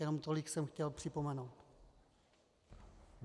Jenom tolik jsem chtěl připomenout.